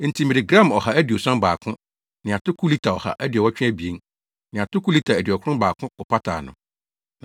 Enti mede gram ɔha aduoson baako (171) ne atoko lita ɔha aduɔwɔtwe abien (182) ne atoko lita aduɔkron baako kɔpataa no.